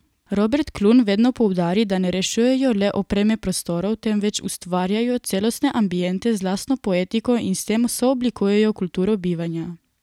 Robert Klun vedno poudari, da ne rešujejo le opreme prostorov, temveč ustvarjajo celostne ambiente z lastno poetiko in s tem sooblikujejo kulturo bivanja.